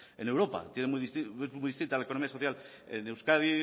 en europa tienen muy distinta la economía de euskadi